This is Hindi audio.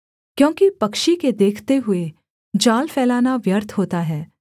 क्योंकि पक्षी के देखते हुए जाल फैलाना व्यर्थ होता है